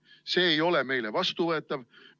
See ei ole meile vastuvõetav.